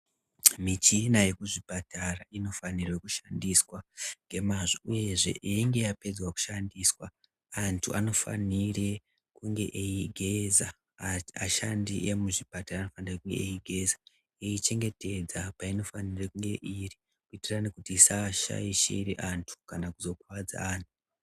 Michina yekuzvipatara inofanire kushandiswa ngemazvo uyezve yeinge yapedza kushandiswa antu anofanire kunge eiigeza. Ashandi emuzvipatara vanenge veiigeza voichengetedza painofanire kunge iri kuitire kuti isashaishire antu kana kuzokuvadza antu.